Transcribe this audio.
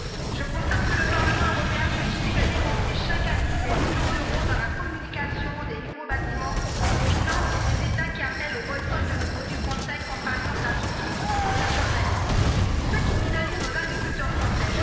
Je constate que le Parlement européen continue de dépenser, chaque année, des millions d'euros dans la construction de nouveaux bâtiments, finance des États qui appellent au boycott de nos produits français, comme par exemple la Turquie ou la Jordanie, ce qui pénalise nos agriculteurs français.